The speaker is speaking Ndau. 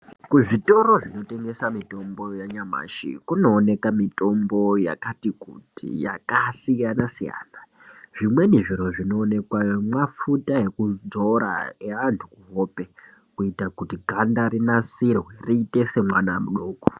Kuzvitoro kumotengeswa mitombo yanyamashi kunooneka mitombo yakasiyana siyana. Zvimweni zviro zvinoonekwayo mafuta ekudzora eantu kuhope kuita kuti ganda rinake rinasirwe riite sere mwana mudoko